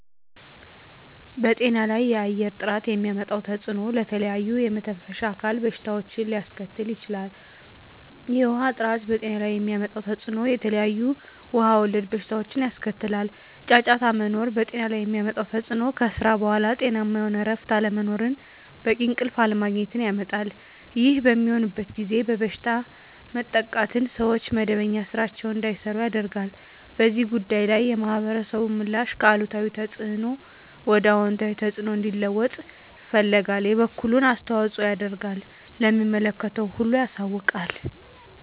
በጤና ላይ የአየር ጥራት የሚያመጣው ተፅዕኖ ለተለያዩ የመተንፈሻ አካል በሽታዎችን ሊያስከትል ይችላል። የውሀ ጥራት በጤና ላይ የሚያመጣው ተፅዕኖ የተለያዩ ውሀ ወለድ በሽታዎችን ያስከትላል። ጫጫታ መኖር በጤና ላይ የሚያመጣው ተፅዕኖ ከስራ በኃላ ጤናማ የሆነ እረፍት አለመኖርን በቂ እንቅልፍ አለማግኘት ያመጣል። ይህ በሚሆንበት ጊዜ በበሽታ መጠቃትን ሰዎች መደበኛ ስራቸዉን እንዳይሰሩ ያደርጋል። በዚህ ጉዳይ ላይ የማህበረሰቡ ምላሽ ከአሉታዊ ተፅዕኖ ወደ አወንታዊ ተፅዕኖ እንዲለወጥ ይፈልጋል የበኩሉን አስተዋፅኦ ያደርጋል ለሚመለከተው ሁሉ ያሳውቃል።